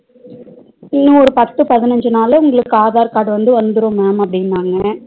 இனி ஒரு பத்து பதினஞ்சினால உங்களுக்கு aadhar card வந்து வந்துரும் ma'am அப்டினாங்க